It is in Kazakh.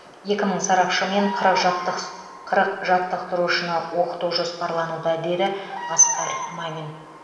екі мың сарапшы мен қырық жаттықсы қырық жаттықтырушыны оқыту жоспарлануда деді асқар мамин